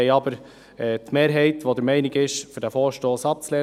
Die Mehrheit ist dennoch der Meinung, diesen Vorstoss abzulehnen.